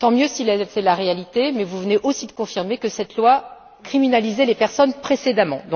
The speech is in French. Tant mieux si c'est la réalité, mais vous venez aussi de confirmer que cette loi criminalisait les personnes précédemment.